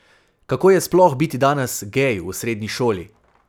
Kako je sploh biti danes gej v srednji šoli?